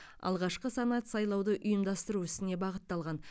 алғашқы санат сайлауды ұйымдастыру ісіне бағытталған